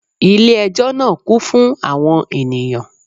Ilé ẹjọ́ náà kún fún àwọn ènìyàn